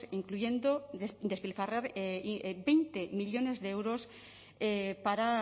incluyendo despilfarrar veinte millónes de euros para